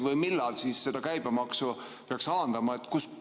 Või millal käibemaksu peaks alandama?